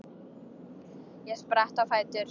Ég spratt á fætur.